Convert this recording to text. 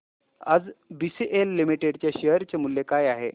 आज BCL limited च्या share चे मूल्य काय आहे